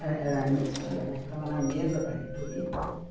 Era anistia, né, estava na mesa da reitoria.